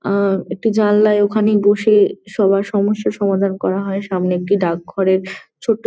আহ একটি জানালায় ওখানেই বসে সবার সমস্যার সমাধান করা করা হয় সামনে একটি ডাকঘরের ছোট্ট--